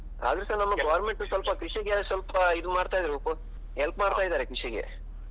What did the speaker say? ಅದ್ರುಸಾ ನಮ್ಮ government ಸ್ವಲ್ಪ ಕೃಷಿಗೆ ಸ್ವಲ್ಪ ಇದು ಮಾಡ್ತ ಇರ್ಬೇಕು help ಮಾಡ್ತಾ ಇದಾರೆ ಕೃಷಿಗೆ.